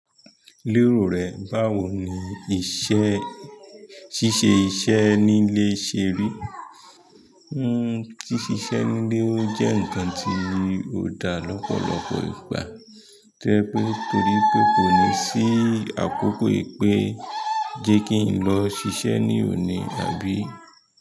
Lérò rẹ, báwo ni iṣẹ́ ṣíṣe iṣẹ́ nílé ṣe rí? Hmm, ṣíṣe iṣẹ́ nílé ó jẹ́ nǹkan tí ò dá lọ́pọ̀lọpọ̀ ìgbà. To jẹ pé torí pé kò ní sí àkókò wipé jẹ́ kí n lọ sisẹ ní òní àbí.